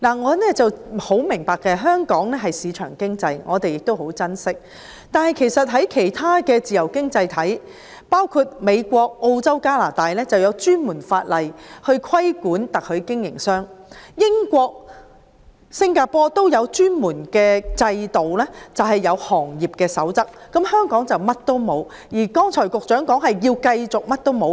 我很明白香港奉行市場經濟，我們亦很珍惜，但其他的自由經濟體，包括美國、澳洲和加拿大，都有專門法例規管特許經營商，英國和新加坡亦有專門制度和行業守則，香港卻甚麼都沒有，局長剛才表示，會繼續甚麼都不做。